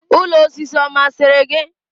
Ụlọ osisi ọ masịrị gị?